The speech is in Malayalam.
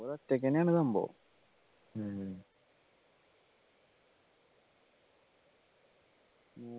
ഒറ്റയ്ക്കെന്നെ ആണ് സംഭവം ഉം